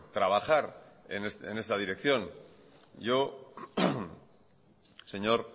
trabajar en esta dirección yo señor